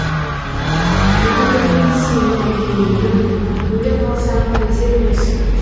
өкіндірмей сені еңлігім өле қалсам қайтеді осы